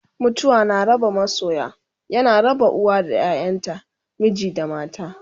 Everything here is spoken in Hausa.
mutuwa na raba masoya, yana raba uwa da ƴaƴanta, miji da mata